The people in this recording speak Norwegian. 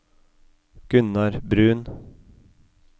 Gunnar Bruun